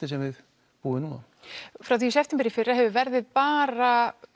sem við búum við frá því í september í fyrra hefur verðið bara